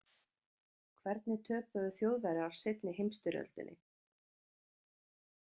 Hvernig töpuðu Þjóðverjar seinni heimsstyrjöldinni?